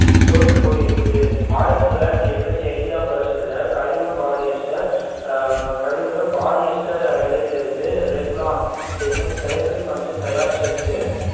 தோத்துப் போய் இருக்குது ஆயிரத்து தொள்ளாயிரத்து என்பத்து ஐந்தாம் வருஷத்துல கழிவு பாலிஸ்டர் கழிவு பாலிஸ்டர் இழையில் இருந்து ரெக்லான் என்னும் செயற்கை பஞ்சு தயார் செஞ்சு